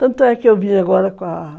Tanto é que eu vim agora com a...